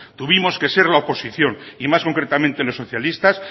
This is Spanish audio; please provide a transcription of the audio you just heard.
tuvimos que ser la oposición y más concretamente los socialistas